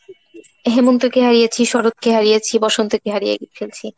হেমন্তকে হারিয়েছি শরৎকে হারিয়েছি বসন্তকে হারিয়ে ফেলছি